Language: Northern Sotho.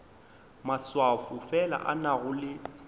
maswafo fela a nago le